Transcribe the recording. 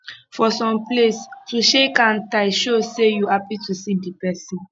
for some place to shake hand tight show sey you happy to see di pesin